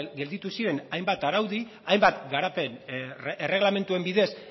gelditu ziren hainbat araudi hainbat garapen erregelamenduen bidez